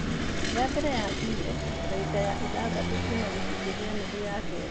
Ya mbere yakinyire, ndagĩka ithathatũ kuuma gĩcunjĩ gĩa nuthu ya kerĩ.